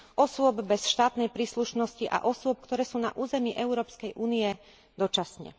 osôb bez štátnej príslušnosti a osôb, ktoré sú na území Európskej únie dočasne.